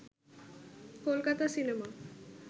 Kolkata cinema